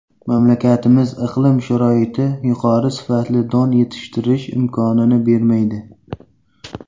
Mamlakatimiz iqlim sharoiti yuqori sifatli don yetishtirish imkonini bermaydi.